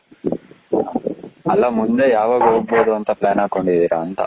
ಅಲ್ಲ ಮುಂದೆ ಯಾವಾಗ ಹೋಗಬಹುದು ಅಂತ plan ಹಾಕೊಂಡಿದ್ದೀರಾ ಅಂತ,